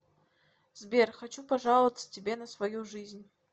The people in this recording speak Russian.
сбер хочу пожаловаться тебе на свою жизнь